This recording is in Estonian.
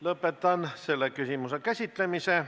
Lõpetan selle küsimuse käsitlemise.